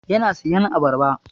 Yana siyan abarba.